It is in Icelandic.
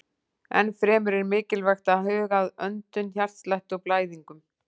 Enn fremur er mikilvægt að huga að öndun, hjartslætti og blæðingum.